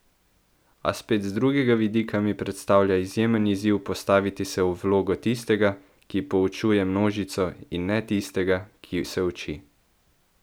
A spet z drugega vidika mi predstavlja izjemen izziv postaviti se v vlogo tistega, ki poučuje množico, in ne tistega, ki se uči.